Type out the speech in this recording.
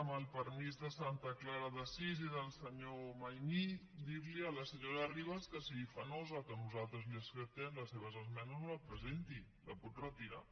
amb el permís de santa clara d’assís i del senyor maimí dir li a la senyora ribas que si li fa nosa que nosaltres li acceptem la seva esmena no la presenti la pot retirar